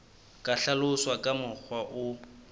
ka hlaloswa ka mokgwa o